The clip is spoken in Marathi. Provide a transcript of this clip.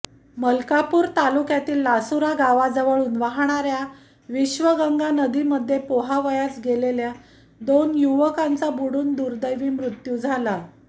मलकापूर तालुक्यातील लासुरा गावाजवळून वाहणार्या विश्वगंगा नदीमध्ये पोहावयास गेलेल्या दोन युवकांचा बुडून दुर्देवी मृत्यू झाला